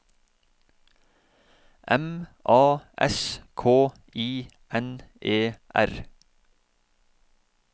M A S K I N E R